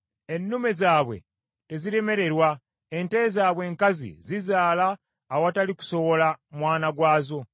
Ennume zaabwe teziremererwa, ente zaabwe enkazi zizaala awatali kusowola mwana gwazo.